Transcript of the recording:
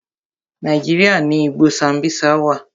Nàíjíríà ni igbó Sambisa wà.